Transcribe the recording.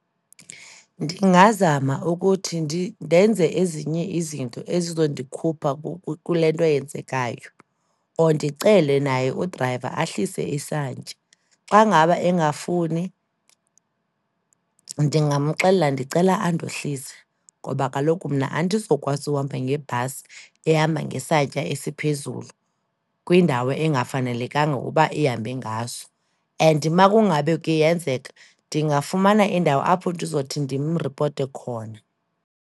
Ndingazama ukuthi ndenze ezinye izinto ezizondikhupha kule nto yenzekayo or ndicele naye udrayiva ahlise isantya. Xa ngaba engafuni, ndingamxelela ndicela andohlise ngoba kaloku mna andizokwazi uhamba ngebhasi ehamba ngesantya esiphezulu kwindawo engafanelekanga ukuba ihambe ngaso and makungabe kuyenzeka, ndingafumana indawo apho ndizothi ndimripote khona.